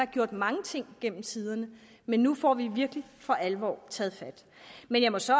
gjort mange ting gennem tiderne men nu får vi virkelig for alvor taget fat men jeg må så